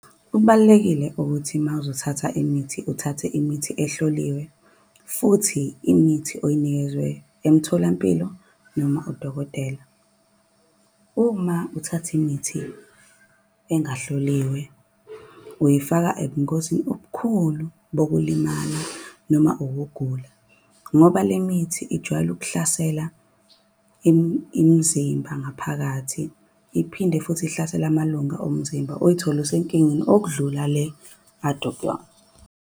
Kubalulekile ukuthi uma wuzothatha imithi uthathe imithi ehloliwe. Futhi imithi oyinikezwe emtholampilo noma udokotela. Uma uthatha imithi engahloliwe, uyifaka ebungozini obukhulu bokulimala noma ukugula. Ngoba le mithi ijwayele ukuhlasela imizimba ngaphakathi. Iphinde futhi ihlasele amalunga omzimba, uy'thole usenkingeni okudlula le ade ukuyona.